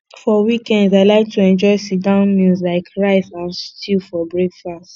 for weekends i like to enjoy sitdown meal like rice and stew for breakfast